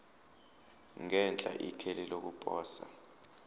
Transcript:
ngenhla ikheli lokuposa